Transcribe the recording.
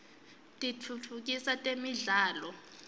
kitfutfukisa temidlalo